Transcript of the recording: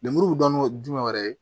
Lemuru dɔnni ye jumɛn wɛrɛ ye